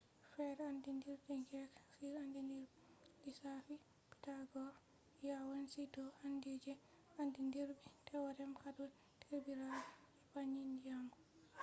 fere andidirbi greek on andidiribe lissafi pythagoras yawanci do andi je andidirbi theorem hado derbirabe je panni nyamo triangles